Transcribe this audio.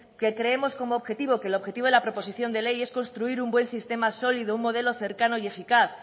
que creemos como objetivo que el objetivo de la proposición de ley es construir un buen sistema sólido un modelo cercano y eficaz